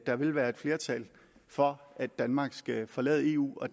der vil være et flertal for at danmark skal forlade eu og